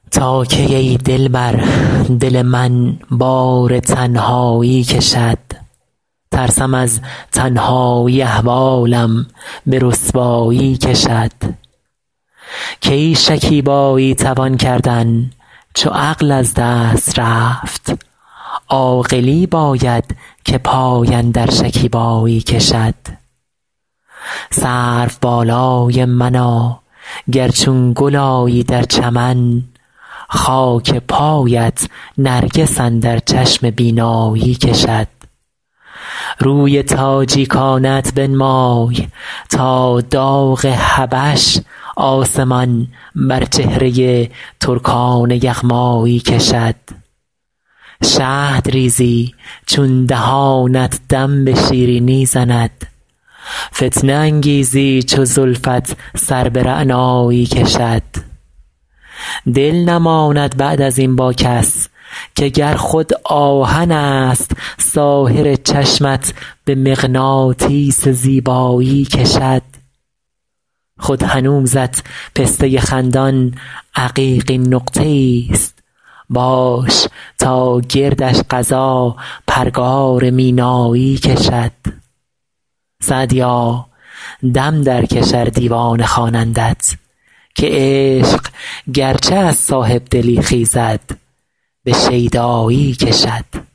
تا کی ای دلبر دل من بار تنهایی کشد ترسم از تنهایی احوالم به رسوایی کشد کی شکیبایی توان کردن چو عقل از دست رفت عاقلی باید که پای اندر شکیبایی کشد سروبالای منا گر چون گل آیی در چمن خاک پایت نرگس اندر چشم بینایی کشد روی تاجیکانه ات بنمای تا داغ حبش آسمان بر چهره ترکان یغمایی کشد شهد ریزی چون دهانت دم به شیرینی زند فتنه انگیزی چو زلفت سر به رعنایی کشد دل نماند بعد از این با کس که گر خود آهنست ساحر چشمت به مغناطیس زیبایی کشد خود هنوزت پسته خندان عقیقین نقطه ایست باش تا گردش قضا پرگار مینایی کشد سعدیا دم درکش ار دیوانه خوانندت که عشق گرچه از صاحب دلی خیزد به شیدایی کشد